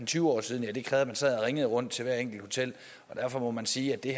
tyve år siden det krævede at man sad og ringede rundt til hvert enkelt hotel derfor må man sige at det